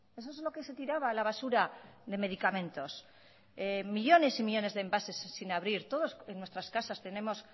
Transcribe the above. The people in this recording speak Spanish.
eso es lo que se tiraba a la basura de medicamentos millónes y millónes de envases sin abrir todos en nuestras casas tenemos